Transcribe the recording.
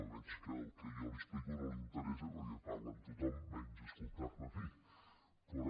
veig que el que jo li explico no li interessa perquè parla amb tothom menys escoltarme a mi però